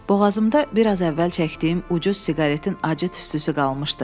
Boğazımda biraz əvvəl çəkdiyim ucuz siqaretin acı tüstüsü qalmışdı.